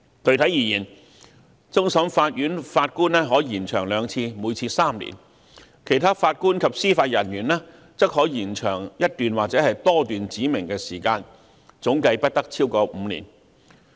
具體而言，終審法院法官的任期可延長兩次，每次3年；其他法官及司法人員的任期則可延長一段或多段指明的時間，總計不得超過5年。